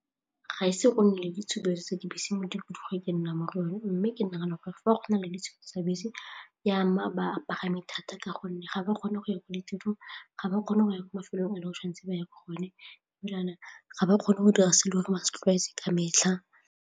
Ga ise go nne le ditshupetso tsa dibese mo ke nnang mo go yone mme ke nagana gore fa go na le tsa bese ya mme a bapagami thata ka gonne ga ba kgone go ya ko ditirong, ga ba kgone go ya ko mafelong a le o tshwan'tse ba ya ko go one ga ba kgone go dira se e le gore ba se tlwaetse ka metlha.